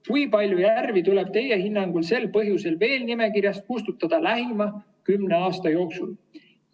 Kui palju järvi tuleb Teie hinnangul sel põhjusel veel nimekirjast kustutada lähema kümne aasta jooksul?